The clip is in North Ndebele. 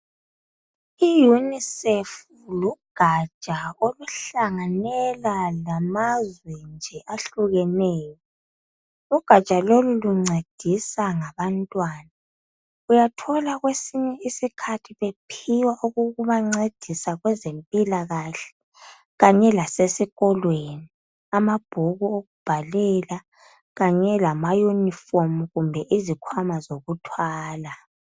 I Unicef lugaja oluhlanganela lamazwe nje ahlukeneyo. Ugaja lolu luncedisa ngabantwana. Uyathola kwesinye isikhathi bephiwa okokubancedisa ngezempilakahle kanye lasesikolweni. Amabhuku okubhalela kanye lama yunifomu kumbe izikhwama zokuthwala.